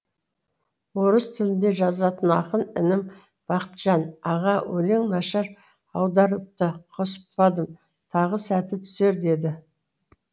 орыс тілінде жазатын ақын інім бақытжан аға өлең нашар аударылыпты қоспадым тағы сәті түсер деді